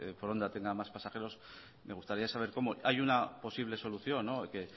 foronda tenga más pasajeros me gustaría saber cómo hay una posible solución que